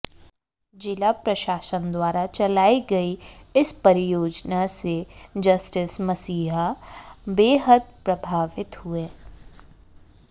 जिला प्रशासन द्वारा चलाई गई इस परियोजना से जस्टिस मसीह बेहद प्रभावित हुए